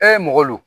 mɔgɔ don